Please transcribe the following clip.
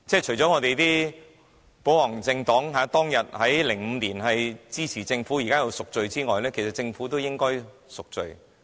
除了我們的保皇黨現在因當時在2005年支持政府而要贖罪外，政府亦應贖罪。